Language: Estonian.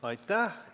Aitäh!